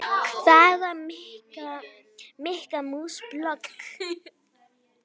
Hvaða Mikka mús blogg?